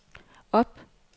op